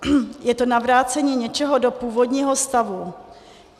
Je to navrácení něčeho do původního stavu.